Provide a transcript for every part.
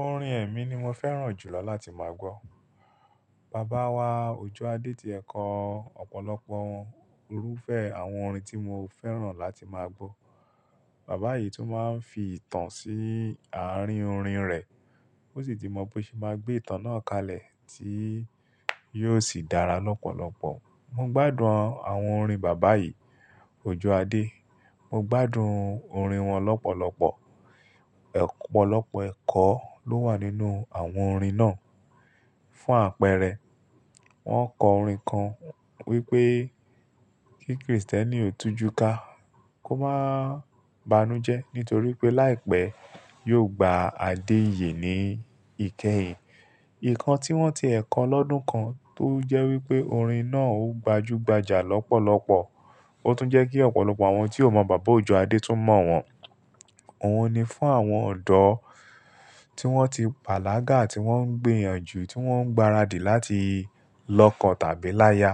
Orin ẹ̀mi ni mo fẹ́ràn jùlọ láti máa gbọ́. Bàbá wa, Òjó Adé ti ẹ̀kọ ọ̀pọ̀lọpọ̀ irúfẹ́ àwọn orin tí mo fẹ́ràn láti máa gbọ́. Bàbá yìí tún máa ń fi ìtàn sí àárín orin rẹ̀. Ó sì ti mọ bí ó ṣe máa gbé ìtàn náà kalẹ̀ tí yóò sì dára lọ́pọ̀lọpọ̀. Mo gbádùn àwọn orin Bàbá yìí, Òjó Adé. Mo gbádùn orin wọn lọ́pọ̀lọpọ̀. Ọ̀pọ̀lọpọ̀ ẹ̀kọ́ ló wà nínú àwọn orin náà. Fún àpẹẹrẹ, wọ́n kọ orin kan wípé kí Kristẹni òtújú ká kó máa banújẹ nítorí pé láìpẹ́ yóò gba àdé iyè ní ìkẹyìn. Ìkan tí wọ́n ti ẹ̀kọ lọ́dún kan tó jẹ́ wípé orin náà ó gbajúgbajà lọ́pọ̀lọpọ̀. Ó tún jẹ́ kí ọ̀pọ̀lọpọ̀ àwọn tí ò mọ Bàbá Òjó Adé tún mọ̀ wọ́n. Ohun ni fún àwọn ọ̀dọ́ tí wọ́n ti pàlágà, tí wọ́n ń gbìyànjú, tí wọ́n ń gbaradì láti lọ́kàn tàbí láya.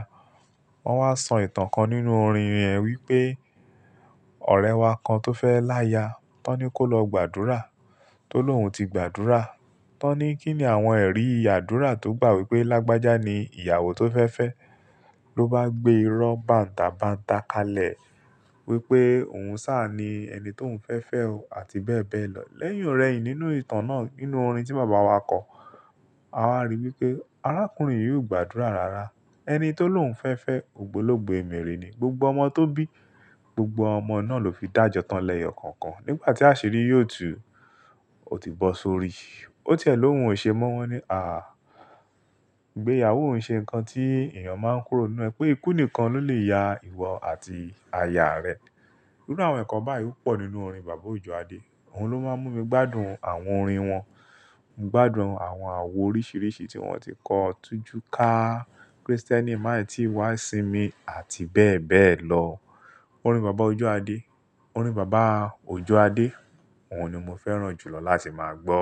Wọ́n wá sọ ìtàn kan nínú orin rẹ̀ wípé ọ̀rẹ́ wa kan tó fẹ́ láya, tán ni kó lọ gbàdúrà. Tólóhùn ti gbàdúrà, tán ni kí ni àwọn ẹ̀rí ìyàdúrà tó gbà wípé lágbájá ni ìyàwó tó fẹ́ fẹ́ lọ bá gbé irọ́ bàǹtàbàǹtà kalẹ̀ wípé òun sá ni ẹni tó ń fẹ́ fẹ́ o àti bẹ́ẹ̀ bẹ́ẹ̀ lọ. Lẹ́yìn ọ̀rẹ́ yìí nínú ìtàn náà nínú orin tí Bàbá wa kọ, a wá rí wípé arákùnrin yìí ó gbàdúrà rara. Ẹni tí ó lóhùn fẹ́ fẹ́ ògbólógbò ẹmèrè ni. Gbogbo ọmọ tó bí, gbogbo ọmọ náà ló fi dàjọ́ tán lẹ́yọ̀ kọ̀ọ̀kan. Nígbà tí àṣírí yóò tú, ó ti bọ́ sórí. Ó tiẹ̀ lóhùn ò ṣe mọ́ wọ́n ní à, igbéyàwó n ṣe nǹkan tí èèyàn máa ń kúrò nínú ẹ pé ikú nìkan ló lè ya ìwọ àti aya rẹ. Nínú àwọn ẹ̀kọ́ báyìí pò nínú orin Bàbá Òjó Adé. Òun ló máa ń mú mi gbádùn àwọn orin wọn. Mo gbádùn àwọn àwo oríṣìíríṣìí tí wọ́n ti kọ̀, tújú ká Kristẹni, maà i tí wá sí mi àti bẹ́ẹ̀ bẹ́ẹ̀ lọ. Orin Bàbá Òjó Adé, orin Bàbá Òjó Adé, òun ni mo fẹ́ràn jùlọ láti máa gbọ́.